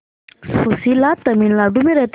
सुशीला तमिलनाडु में रहती है